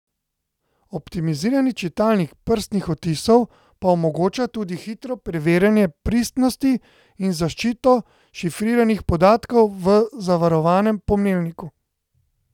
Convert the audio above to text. Optimizirani čitalnik prstnih odtisov pa omogoča tudi hitro preverjanje pristnosti in zaščito šifriranih podatkov v zavarovanem pomnilniku.